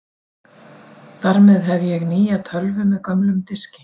Þar með hef ég nýja tölvu með gömlum diski.